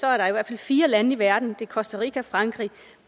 er der i hvert fald fire lande i verden costa rica frankrig